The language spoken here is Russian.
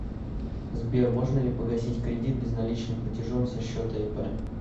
сбер можно ли погасить кредит безналичным платежом со счета ип